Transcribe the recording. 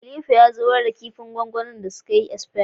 Khalifa ya zubar da da sadin din da sukayi asfaya